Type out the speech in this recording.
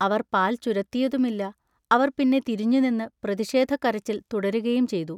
അവർ പാൽ ചുരത്തിയതുമില്ല. അവർ പിന്നെ തിരിഞ്ഞുനിന്ന് പ്രതിഷേധക്കരച്ചിൽ തുടരുകയും ചെയ്തു.